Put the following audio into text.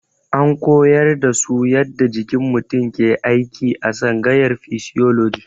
An koyar da su yadda jikin mutum ke aiki a tsangayar fisioloji.